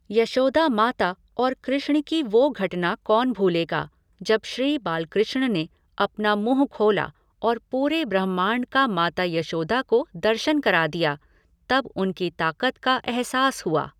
यशोदा माता और कृष्ण की वो घटना कौन भूलेगा, जब श्री बालकृष्ण ने अपना मुँह खोला और पूरे ब्रह्माण्ड का माता यशोदा को दर्शन करा दिए, तब उनकी ताकत का अहसास हुआ।